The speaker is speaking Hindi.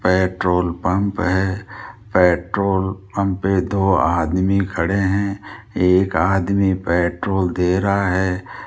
पेट्रोल पंप है पेट्रोल पंप पे दो आदमी खड़े हैं एक आदमी पेट्रोल दे रहा है।